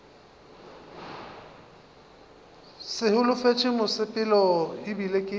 sa holofetše mosepelo ebile ke